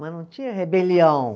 Mas não tinha rebelião.